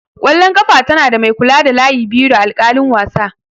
ƙwallon ƙafa tana da mai kula da layi biyu da alƙalin wasa.